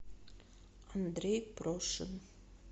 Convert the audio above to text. андрей прошин